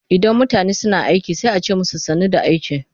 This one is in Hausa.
Idan mutane suna aiki sai a ce musu sannu da aiki.